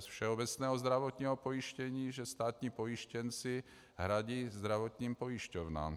z všeobecného zdravotního pojištění, že státní pojištěnci hradí zdravotním pojišťovnám.